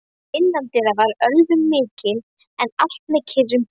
Innandyra var ölvun mikil, en allt með kyrrum kjörum.